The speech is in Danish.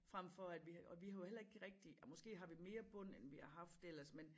Frem for at vi har og vi har jo heller ikke rigtig ej måske har vi mere bund end vi har haft ellers men